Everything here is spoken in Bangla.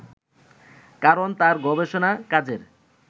কারণ তার গবেষণা কাজের